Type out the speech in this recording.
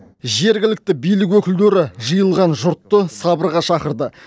жергілікті билік өкілдері жиылған жұртты сабырға шақырды